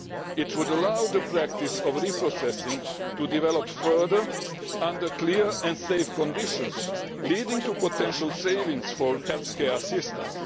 It would allow the practice of reprocessing to develop further under clear and safe conditions, leading to potential savings for healthcare systems.